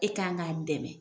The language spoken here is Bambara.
E k'an k'a dɛmɛ.